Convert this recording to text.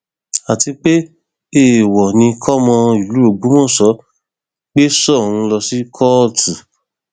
àti pé èèwọ ni kí ọmọ ìlú ògbómọṣọ gbé soun lọ sí kóòtù